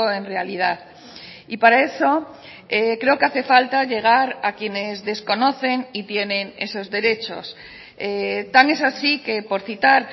en realidad y para eso creo que hace falta llegar a quienes desconocen y tienen esos derechos tan es así que por citar